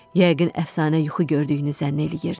Yəqin əfsanə yuxu gördüyünü zənn eləyirdi.